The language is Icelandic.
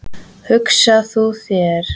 Hugsaðu þér hvað maður hefur verið mikið barn.